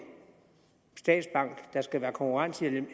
statsbank der skal være en konkurrent til de